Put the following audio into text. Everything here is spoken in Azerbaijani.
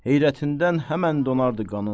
Heyrətindən həmən donardı qanın.